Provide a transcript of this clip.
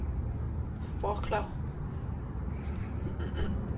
Wroclaw